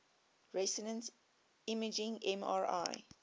resonance imaging mri